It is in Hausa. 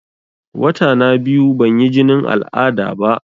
Wata na biyu ban yi jinin al'ada ba